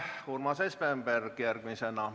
Urmas Espenberg järgmisena.